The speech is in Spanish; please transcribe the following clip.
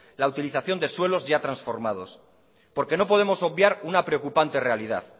la utilización de suelos ya transformados porque no podemos obviar una preocupante realidad